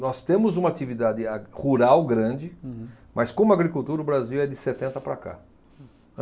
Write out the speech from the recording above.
Nós temos uma atividade a rural grande. Uhum. Mas como agricultura, o Brasil é de setenta para cá.